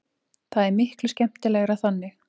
Það er miklu skemmtilegra þannig.